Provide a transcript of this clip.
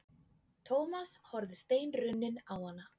Thomas horfði steinrunninn á hana.